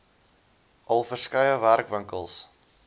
al verskeie werkswinkels